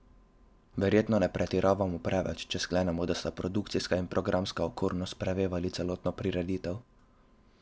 Verjetno ne pretiravamo preveč, če sklenemo, da sta produkcijska in programska okornost prevevali celotno prireditev.